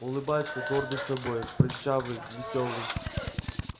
улыбается гордый собой прыщавый весёлый